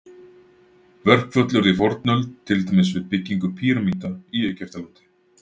Verkföll urðu í fornöld, til dæmis við byggingu pýramída í Egyptalandi.